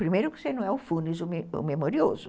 Primeiro que você não é o funes, o memorioso.